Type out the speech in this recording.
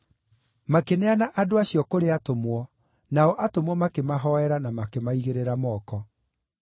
Makĩneana andũ acio kũrĩ atũmwo, nao atũmwo makĩmahoera na makĩmaigĩrĩra moko.